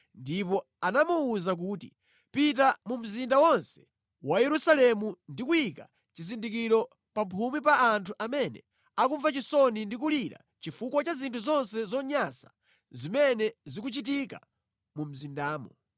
ndipo anamuwuza kuti, “Pita mu mzinda wonse wa Yerusalemu ndi kuyika chizindikiro pamphumi pa anthu amene akumva chisoni ndi kulira chifukwa cha zinthu zonse zonyansa zimene zikuchitika mu mzindamo.”